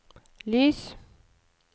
lys